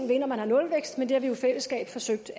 ved når man har nulvækst men det har vi jo i fællesskab forsøgt